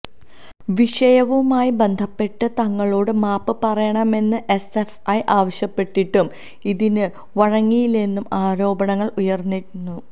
വിഷയവുമായി ബന്ധപ്പെട്ട് തങ്ങളോട് മാപ്പ് പറയണമെന്ന് എസ്എഫ്ഐ ആവശ്യപ്പെട്ടിട്ടും ഇതിന് വഴങ്ങിയില്ലെന്നും ആരോപണങ്ങൾ ഉയർന്നിരുന്നു